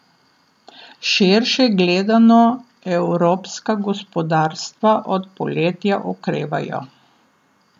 Širše gledano evropska gospodarstva od poletja okrevajo.